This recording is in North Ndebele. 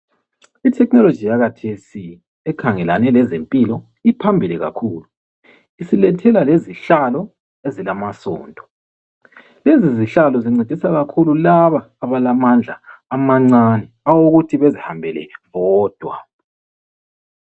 I"technology" yakhathesi ekhangelane lezempilo iphambili kakhulu. Isilethela lezihlalo ezilamasondo. Lezi zihlalo zincedisa kakhulu laba abalamandla amancane awokuthi bezihambele bodwa.